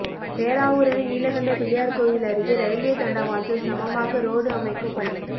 பேராவூரணி நீலகண்ட பிள்ளையார் கோயில் அருகே ரயில்வே தண்டவாளத்தில் சமமாக ரோடு அமைக்கும் பணி